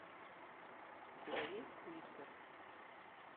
у тебя есть флиппер